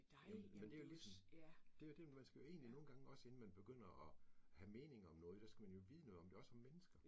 Jamen, men det jo ligesom det jo det man skal jo egentlig også nogle gange inden man begynder og have meninger om noget, der skal man jo vide noget om det, også om mennesker